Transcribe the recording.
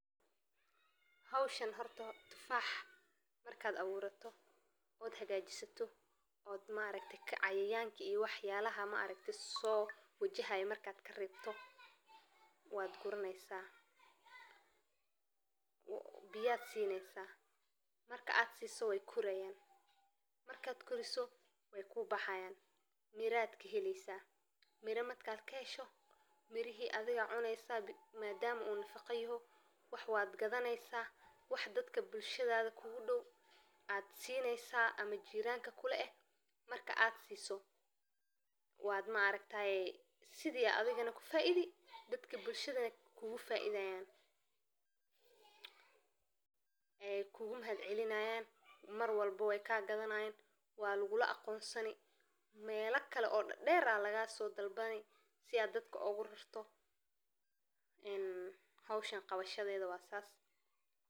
Hawshaan halkan tufax marka. Markaad abuurato oo aad xagaajisato, maareyta cayayaanka iyo wax yaalaha maareyta soo wajahaay markaad ka reebto. Waad gurneysaa. Biyaad siineysa marka aad siiso way kurayaan. Markaad koriso way kuu baxayaan. Miraad ka helayso mira matka keesho. Mirihi adiga cuneyso maadaama uu nafaqayno. Wax waad gadnaysaa wax dadka bulshadaada kuugu dhow. Aad siineysaa ama jiiranka kule marka aad siiso. Waad maareytaay sidii adigana ku faiidi dadka bulshada kuugu faidayaan. Ay kuugu mahadcelinayaan. Marwalba way ka gadnayn. Waa lugula aqoonsani meelaka kale oo dheeraad lagaa soo dalbanay si aad dadku ogu rirto in habushadaas.